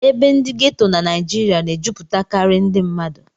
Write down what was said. Ebe ndị ghetto na Naịjirịa na-ejupụtakarị ndị mmadụ